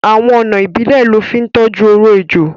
Awọn ọna ìbílẹ̀ lọ fi ntoju ọ̀rọ̀ èjọ.